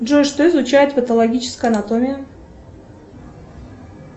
джой что изучает патологическая анатомия